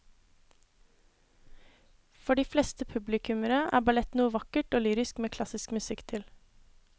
For de fleste publikummere er ballett noe vakkert og lyrisk med klassisk musikk til.